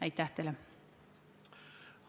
Aitäh teile!